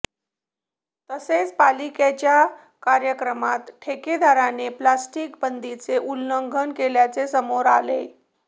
तसेच पालिकेच्याच कार्यक्रमात ठेकेदाराने प्लास्टिक बंदीचे उल्लंघन केल्याचे समोर आले